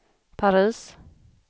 Paris